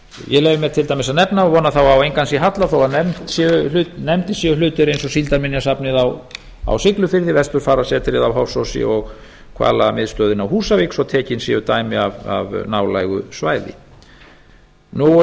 ég leyfi mér til dæmis að nefna og vona þá að á engan sé hallað þó að nefndir séu hlutir eins og síldarminjasafnið á siglufirði vesturfarasetrið á hofsósi og hvalamiðstöðin á húsavík svo tekin séu dæmi af nálægu svæði ég